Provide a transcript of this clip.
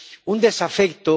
un desafecto